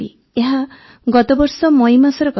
ଏହା ଗତବର୍ଷ ମଇ ମାସର କଥା